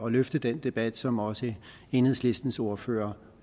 at løfte den debat som også enhedslistens ordfører